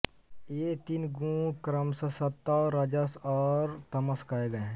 ये तीन गुण क्रमश सत्व रजस् ओर तमस् कहे गए हैं